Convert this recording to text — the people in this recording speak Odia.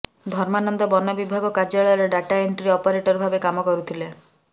ଧର୍ମାନନ୍ଦ ବନବିଭାଗ କାର୍ଯ୍ୟାଳୟରେ ଡାଟା ଏଣ୍ଟ୍ରି ଅପରେଟର ଭାବେ କାମ କରୁଥିଲେ